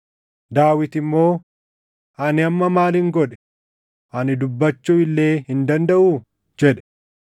Daawit immoo, “Ani amma maalin godhe? Ani dubbachuu illee hin dandaʼuu?” jedhe.